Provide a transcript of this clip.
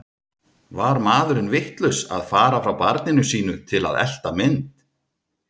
Var maðurinn vitlaus að fara frá barninu sínu til að elta mynd?